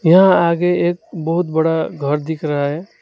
यहां आगे एक बहुत बड़ा घर दिख रहा है।